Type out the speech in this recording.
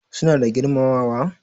Suna da girmamawa?